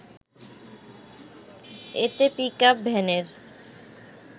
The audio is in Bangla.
এতে পিকআপ ভ্যানের